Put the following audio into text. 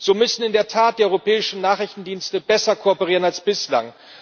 So müssen in der Tat die europäischen Nachrichtendienste besser kooperieren als bislang.